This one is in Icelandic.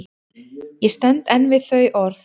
Ég stend enn við þau orð.